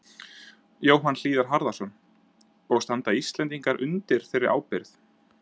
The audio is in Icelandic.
Jóhann Hlíðar Harðarson: Og standa Íslendingar undir þeirri ábyrgð?